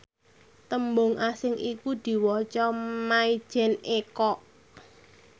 tembung asing iku diwaca mayjen eko